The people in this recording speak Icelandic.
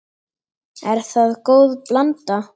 Er það góð blanda.